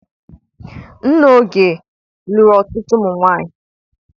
Nna Oge lụrụ ọtụtụ nwaanyị.